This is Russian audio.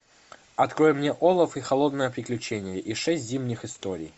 открой мне олаф и холодное приключение и шесть зимних историй